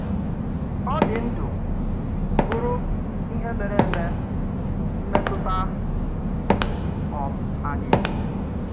Ọ̀ dị̀ ndụ̀, bụrụ ìhè méré eme, mmetụta um anyị.